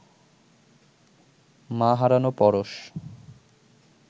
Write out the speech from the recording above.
মা হারানো পরশ